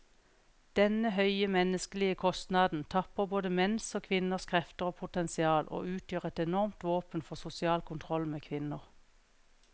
Denne høye menneskelige kostnaden tapper både menns og kvinners krefter og potensial, og utgjør et enormt våpen for sosial kontroll med kvinner.